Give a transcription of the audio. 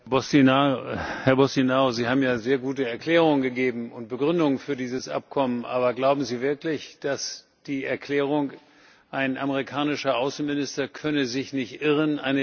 Herr Boştinaru, Sie haben ja sehr gute Erklärungen gegeben und Begründungen für dieses Abkommen, aber glauben Sie wirklich, dass die Erklärung, ein amerikanischer Außenminister könne sich nicht irren, eine wirklich gute ist?